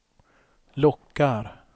lockar